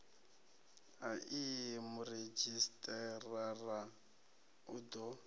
a ii muredzhisitarara u ḓo